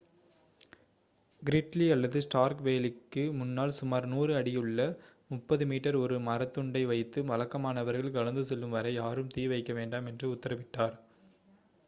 Gridley அல்லது Stark வேலிக்கு முன்னால் சுமார் 100 அடியுள்ள 30 மீ ஒரு மரத்துண்டை வைத்து வழக்கமானவர்கள் கடந்து செல்லும் வரை யாரும் தீ வைக்கவேண்டாம் என்று உத்தரவிட்டார்